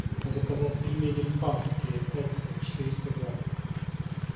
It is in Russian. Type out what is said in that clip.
заказать пельмени панские экстра четыреста грамм